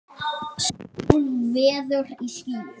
Sól veður í skýjum.